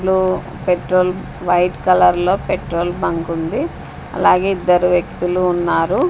లో petrol white colour లో petrol bunk ఉంది అలాగే ఇద్దరు వ్యక్తులు ఉన్నారు.